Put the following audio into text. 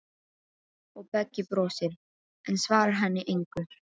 Og Beggi brosir, en svarar henni engu.